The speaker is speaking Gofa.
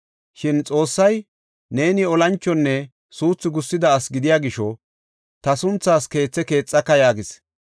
Shin Xoossay, ‘Neeni olanchonne suuthi gussida asi gidiya gisho ta sunthaas keethe keexaka’ yaagis.